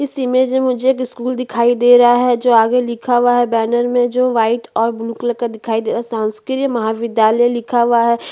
इस इमेज में मुझे एक स्कूल दिखाई दे रहा है जो आगे लिखा हुआ है बैनर में जो व्हाईट और ब्लू कलर का दिखाई दे रहा है शासकीय महाविद्यालय लिखा हुआ है।